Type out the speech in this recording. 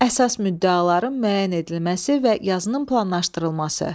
Əsas müddəaların müəyyən edilməsi və yazının planlaşdırılması.